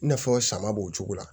I n'a fɔ sama b'o cogo la